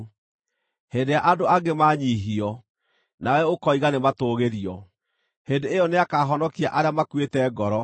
Hĩndĩ ĩrĩa andũ angĩ manyiihio, nawe ũkoiga, ‘Nĩmatũũgĩrio!’ Hĩndĩ ĩyo nĩakahonokia arĩa makuĩte ngoro.